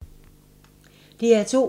DR2